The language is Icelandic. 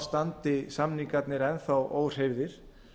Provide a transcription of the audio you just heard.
standi samningarnir enn þá óhreyfðir